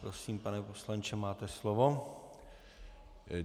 Prosím, pane poslanče, máte slovo.